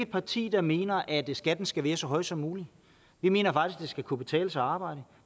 parti der mener at skatten skal være så høj som mulig vi mener faktisk det skal kunne betale sig at arbejde